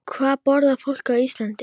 Hvað borðar fólk á Íslandi?